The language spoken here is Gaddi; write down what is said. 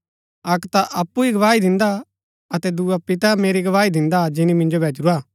अक्क ता अऊँ अप्पु ही गवाही दिन्दा अतै दुआ पिता मेरी गवाही दिन्दा जिनी मिन्जो भैजूरा